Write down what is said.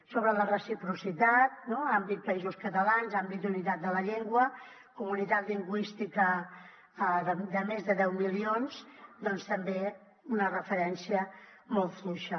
sobre la reciprocitat àmbit països catalans àmbit unitat de la llengua comunitat lingüística de més de deu milions doncs també una referència molt fluixa